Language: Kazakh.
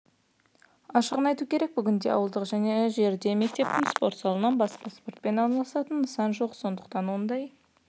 ашығын айту керек бүгінде ауылдық жерде мектептің спорт залынан басқа спортпен айналысатын нысан жоқ сондықтан ондай